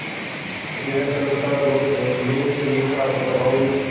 यह संस्थान Los Angeles में छात्रों और